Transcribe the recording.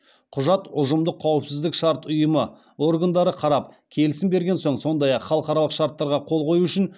құжат ұжымдық қауіпсіздік шарт ұйымы органдары қарап келісім берген соң сондай ақ халықаралық шарттарға қол қою үшін